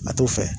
A t'o fɛ